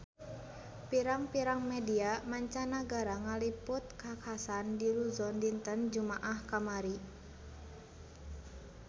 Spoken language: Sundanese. Pirang-pirang media mancanagara ngaliput kakhasan di Luzon dinten Jumaah kamari